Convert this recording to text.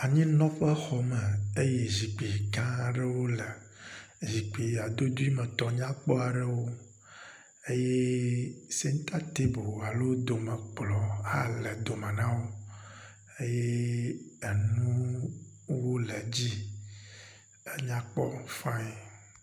Anyinɔƒexɔ me eye zikpui gã aɖewo le. Zikpui adodoemetɔ nyakpɔ aɖewo eye sentatebu alo domekplɔ̃ hã le dome na wo eye enuwo le edzi. Enya kpɔ fiaŋ.